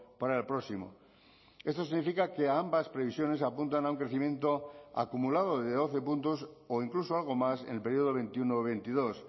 para el próximo esto significa que ambas previsiones apuntan a un crecimiento acumulado de doce puntos o incluso algo más en el periodo veintiuno veintidós